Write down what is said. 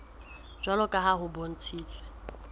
jwalo ka ha ho bontshitswe